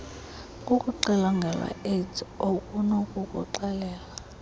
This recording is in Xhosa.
kukuxilongelwa iaids okunokukuxelela